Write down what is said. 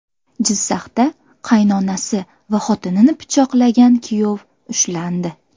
Jizzaxda qaynonasi va xotinini pichoqlagan kuyov ushlandi.